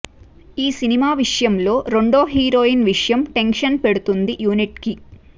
ఈ సినిమా విషయంలో రెండో హీరోయిన్ విషయం టెన్షన్ పెడుతుంది యూనిట్కి